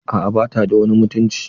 A'a bata da wani mutunci.